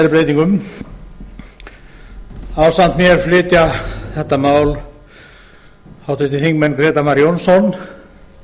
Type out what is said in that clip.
með síðari breytingum ásamt mér flytja þetta mál háttvirtir þingmenn grétar mar jónsson